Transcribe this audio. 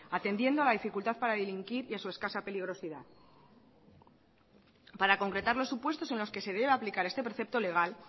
atendiendo a la dificultad para delinquir y a su escasa peligrosidad para concretar los supuestos en los que se debe aplicar este precepto legal